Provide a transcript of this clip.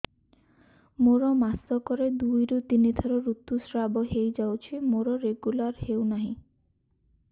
ମୋର ମାସ କ ରେ ଦୁଇ ରୁ ତିନି ଥର ଋତୁଶ୍ରାବ ହେଇଯାଉଛି ମୋର ରେଗୁଲାର ହେଉନାହିଁ